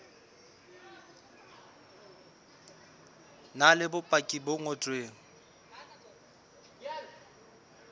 na le bopaki bo ngotsweng